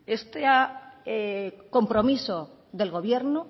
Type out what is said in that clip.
este compromiso del gobierno